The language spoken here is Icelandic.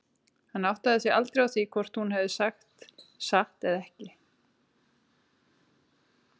Hann áttaði sig aldrei á því hvort hún hefði sagt satt eða ekki.